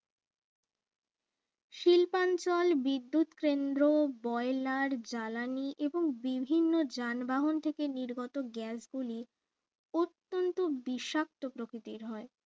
শিল্পনাঞ্চল বিদ্যুৎ কেন্দ্র বয়লার জ্বালানি এদের বিভিন্ন যানবাহন থেকে নির্গত gas গুলি অত্যান্ত বিষাক্ত প্রকৃতির হয়